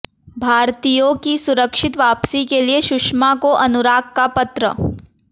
भारतीयों की सुरक्षित वापसी के लिए सुषमा को अनुराग का पत्र